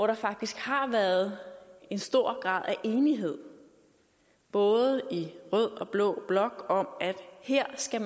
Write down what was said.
der faktisk har været en stor grad af enighed både i rød og blå blok om at her skal